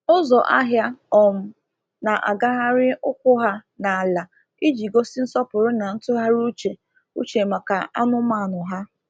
Ụzọ ahịa um na-agagharị ụkwụ ha n’ala iji gosi nsọpụrụ na ntụgharị uche uche maka anụmanụ ha.